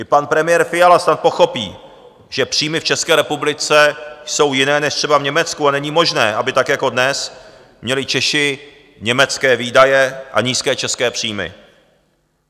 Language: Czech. I pan premiér Fiala snad pochopí, že příjmy v České republice jsou jiné než třeba v Německu a není možné, aby tak jako dnes měli Češi německé výdaje a nízké české příjmy.